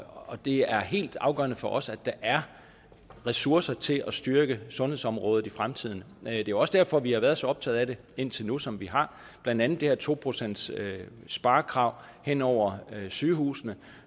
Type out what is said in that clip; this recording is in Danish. og det er helt afgørende for os at der er ressourcer til at styrke sundhedsområdet i fremtiden det er jo også derfor vi har været så optaget af det indtil nu som vi har blandt andet det her to procentssparekrav hen over sygehusene